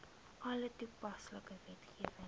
alle toepaslike wetgewing